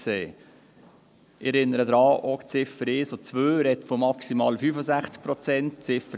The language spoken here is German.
Ich erinnere daran, dass auch die Ziffern 1 und 2 von maximal 65 Prozent sprechen.